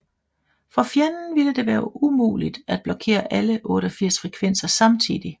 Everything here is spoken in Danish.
For fjenden ville det være umuligt at blokere alle 88 frekvenser samtidigt